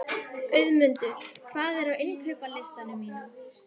Auðmundur, hvað er á innkaupalistanum mínum?